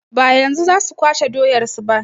Ba yanzu za su kwashe doyar su ba.